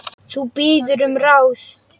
Þú biður um ráð.